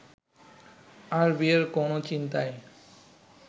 আর বিয়ের কোনও চিন্তাই